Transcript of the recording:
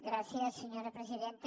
gràcies senyora presidenta